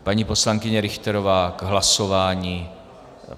Paní poslankyně Richterová k hlasování.